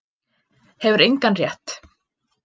Hefur engan rétt